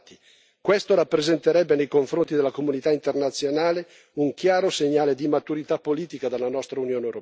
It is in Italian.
Questo rappresenterebbe nei confronti della comunità internazionale un chiaro segnale di maturità politica dalla nostra Unione europea.